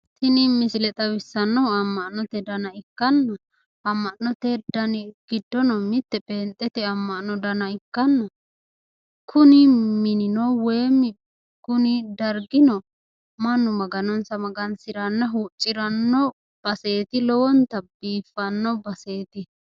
Tini misile xawissannohu amma'note dana ikkanna amma'note dani giddono mitte pheenxete amma'no dana ikkanna kuni minino woyimmi kuni dargino mannu maganonsa magansiranna huucciranno baseeti. lowonta biiffanno baseeti.